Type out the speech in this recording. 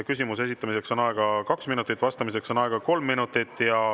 Küsimuse esitamiseks on aega kaks minutit, vastamiseks on aega kolm minutit.